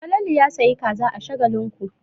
Falalu ya sayi kaza a Shagalinku.